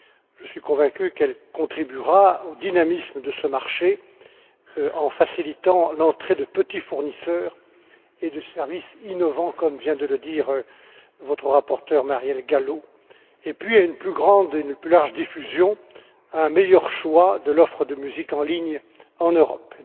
Je suis convaincu qu'elle contribuera au dynamisme de ce marché en facilitant l'entrée de petits fournisseurs et de services innovants, comme vient de le dire votre rapporteur Marielle Gallo. Ce texte contribuera également à une plus large diffusion et à un meilleur choix de l'offre de musique en ligne en Europe.